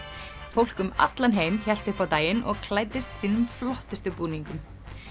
fólk um allan heim hélt upp á daginn og klæddist sínum flottustu búningum